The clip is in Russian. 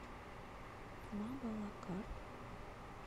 мабалакат